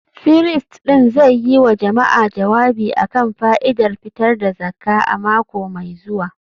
firist ɗin zai yi wa jama’a jawabi a kan fa’idar fitar da zakka a mako mai zuwa